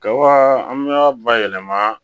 Ka an y'a bayɛlɛma